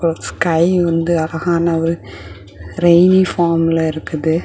ஒரு ஸ்கை வந்து அழகான ஒரு ரெய்ணி ஃபார்ம்ல இருக்குது.